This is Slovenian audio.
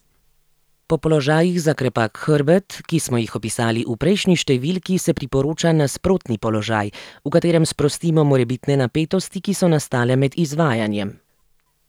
Po položajih za krepak hrbet, ki smo jih opisali v prejšnji številki, se priporoča nasprotni položaj, v katerem sprostimo morebitne napetosti, ki so nastale med izvajanjem.